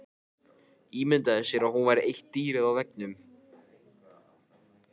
Ímyndaði sér að hún væri eitt dýrið á veggnum.